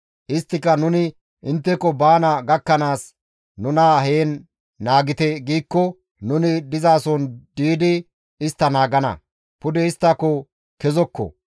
Isttika, ‹Nuni intteko baana gakkanaas nuna heen naagite› giikko nuni dizason diidi istta naagana; pude isttako kezokko.